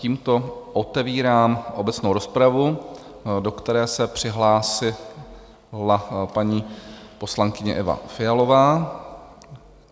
Tímto otevírám obecnou rozpravu, do které se přihlásila paní poslankyně Eva Fialová.